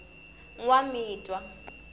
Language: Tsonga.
nwamitwa